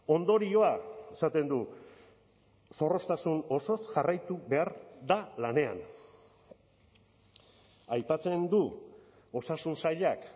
ondorioa esaten du zorroztasun osoz jarraitu behar da lanean aipatzen du osasun sailak